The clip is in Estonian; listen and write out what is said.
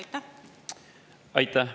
Aitäh!